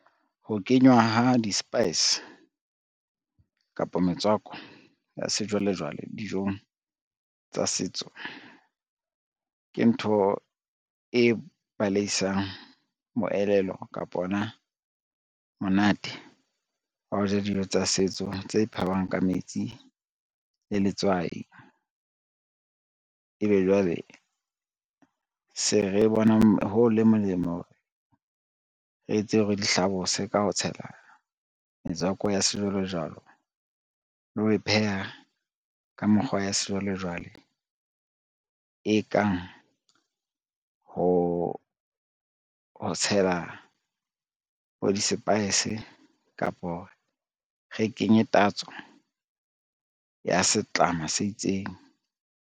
Ho kenywa ha di-spice kapo, metswako ya sejwalejwale dijong tsa setso ke ntho e baleisang moelelo kapo ona monate, wa ho ja dijo tsa setso tse phahwang ka metsi le letswai. Ebe jwale se re bona ho le molemo ho re re etse hore di hlabose ka ho tshela metswako ya sejwalejwale le ho e pheha ka mekgwa ya sejwalejwale, e kang ho tshela bo di-spices kapa re kenye tatso ya setlama se itseng.